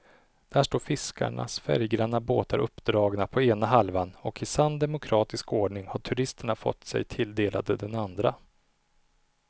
Där står fiskarnas färggranna båtar uppdragna på ena halvan och i sann demokratisk ordning har turisterna fått sig tilldelade den andra.